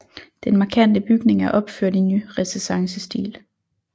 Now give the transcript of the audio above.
Den markante bygning er opført i nyrenæssancestil